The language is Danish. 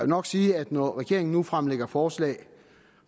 nok sige at når regeringen nu fremlægger forslag